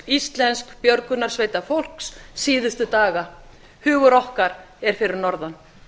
íslenska björgunarsveitarfólks síðustu daga hugur okkar er fyrir norðan